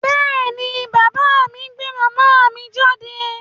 Bẹ́ẹ̀ ni, bàbá mi gbé màmá mi jáde.